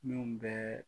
Min bɛɛ